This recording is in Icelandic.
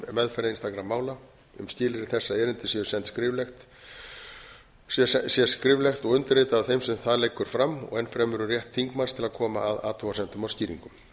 meðferð einstakra mála um skilyrði þessa erindi sé sent skriflegt og undirritað af þeim sem það leggur fram ennfremur um rétt þingmanns til að koma að athugasemdum og skýringum